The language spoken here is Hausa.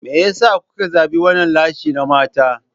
Me yasa kuka zabi wannan lashe na mata?